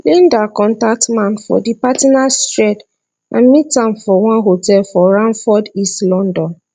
linda contact man for di partners thread and meet am for one hotel for romford east london